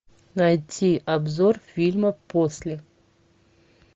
найти обзор фильма после